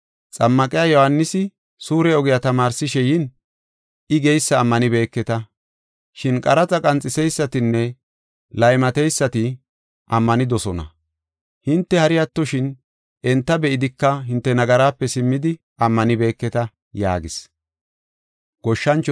Xammaqiya Yohaanisi suure ogiya tamaarsishe yin I geysa ammanibeketa. Shin qaraxa qanxiseysatinne laymateysati ammanidosona. Hinte hari attoshin, enta be7idika hinte nagaraape simmidi ammanibeketa” yaagis.